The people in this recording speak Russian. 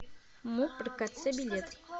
муп ркц билет